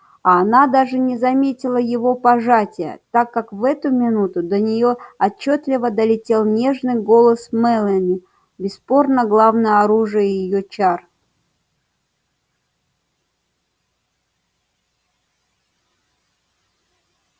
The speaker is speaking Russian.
а она даже не заметила его пожатия так как в эту минуту до неё отчётливо долетел нежный голос мелани бесспорно главное оружие её чар